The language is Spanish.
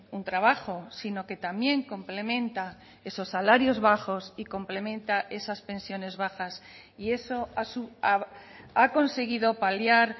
un trabajo sino que también complementa esos salarios bajos y complementa esas pensiones bajas y eso ha conseguido paliar